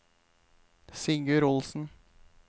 Sigurd Olsen